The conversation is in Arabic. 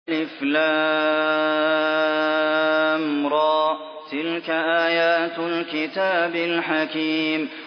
الر ۚ تِلْكَ آيَاتُ الْكِتَابِ الْحَكِيمِ